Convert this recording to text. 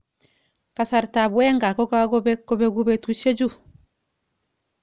Kasrtab Wenger kokakobek kobeku betushek chu.